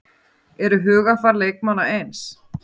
Eru hugarfar leikmanna eins?